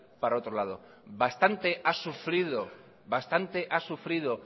para otro lado bastante ha sufrido bastante ha sufrido